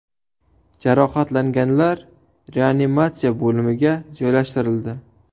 Jarohatlanganlar reanimatsiya bo‘limiga joylashtirildi.